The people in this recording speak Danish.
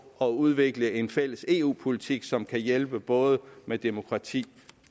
at udvikle en fælles eu politik som kan hjælpe både med demokrati